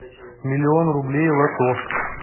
миллион рублей лото